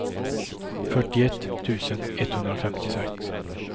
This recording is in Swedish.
fyrtioett tusen etthundrafemtiosex